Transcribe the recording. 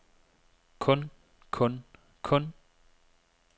kun kun kun